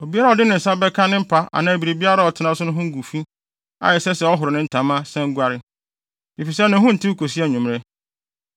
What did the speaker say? Obiara a ɔde ne nsa bɛka ne mpa anaa biribiara a ɔtena so no ho agu fi a ɛsɛ sɛ ɔhoro ne ntama, san guare, efisɛ ne ho ntew kosi anwummere.